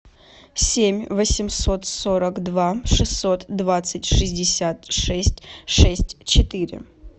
семь восемьсот сорок два шестьсот двадцать шестьдесят шесть шесть четыре